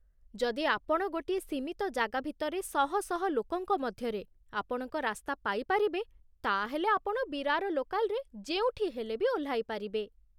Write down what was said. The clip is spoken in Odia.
ଯଦି ଆପଣ ଗୋଟିଏ ସୀମିତ ଜାଗା ଭିତରେ ଶହ ଶହ ଲୋକଙ୍କ ମଧ୍ୟରେ ଆପଣଙ୍କ ରାସ୍ତା ପାଇ ପାରିବେ, ତା'ହେଲେ ଆପଣ ବିରାର ଲୋକାଲ୍‌ରେ ଯେଉଁଠି ହେଲେ ବି ଓହ୍ଲାଇପାରିବେ ।